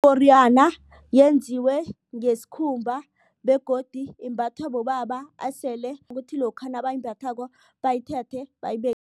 Iporiyana yenziwe ngesikhumba begodu imbathwa bobaba esele kuthi lokha nabayimbathako bayithethe